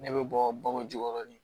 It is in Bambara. Ne bɛ bɔ baw jukɔrɔ de